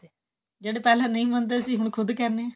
ਜਿਹੜੇ ਪਹਿਲਾ ਨਹੀਂ ਮਨਦੇ ਸੀ ਹੁਣ ਕਹਿੰਦੇ ਐ